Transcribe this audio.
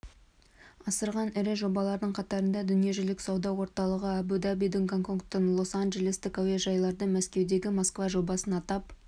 асырған ірі жобалардың қатарында дүниежүзілік сауда орталығы әбу-дабидің гонконгтың лос-анджелестік әуежайларды мәскеудегі москва жобасын атап